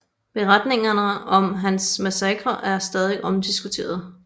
Beretningerne om hans massakrer er stadig omdiskuteret